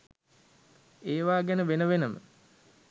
ඒවා ගැන වෙන වෙනම